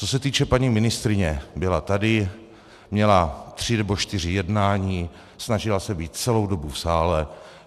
Co se týče paní ministryně, byla tady, měla tři nebo čtyři jednání, snažila se být celou dobu v sále.